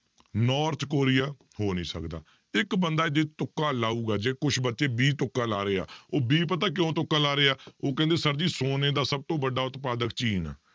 North Korea ਹੋ ਨੀ ਸਕਦਾ, ਇੱਕ ਬੰਦਾ ਜੇ ਤੁੱਕਾ ਲਾਊਗਾ, ਜੇ ਕੁਛ ਬੱਚੇ b ਤੁੱਕਾ ਲਾ ਰਹੇ ਆ, ਉਹ b ਪਤਾ ਕਿਉਂ ਤੁੱਕਾ ਲਾ ਰਹੇ ਆ, ਉਹ ਕਹਿੰਦੇ sir ਜੀ ਸੋਨੇ ਦਾ ਸਭ ਤੋਂ ਵੱਡਾ ਉਤਪਾਦਕ ਚੀਨ ਹੈ